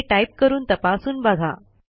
हे टाईप करून तपासून बघा